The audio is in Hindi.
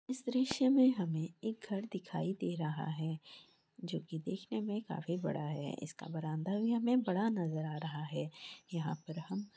इस दृश्य में हमें एक घर दिखाई दे रहा है जोकि देखने काफी बड़ा है इसका बरांदा भी हमे बड़ा नज़र आ रहा है यहाँ पर हम--